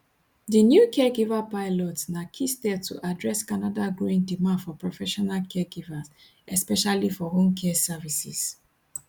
di new caregiver pilots na key step to address canada growing demand for professional caregivers especially for home care services